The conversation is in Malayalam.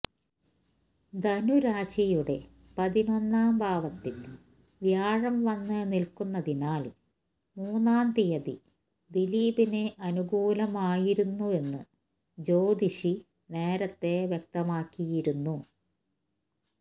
ധനുരാശിയുടെ പതിനൊന്നാം ഭാവത്തില് വ്യാഴം വന്ന് നില്ക്കുന്നതിനാല് മൂന്നാം തിയതി ദിലീപിന് അനുകൂലമായിരുന്നുവെന്ന് ജ്യോതിഷി നേരത്തെ വ്യക്തമാക്കിയിരുന്നു